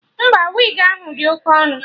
Mba, wigi ahụ dị Oke ọnụ